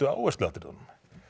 áhersluatriðunum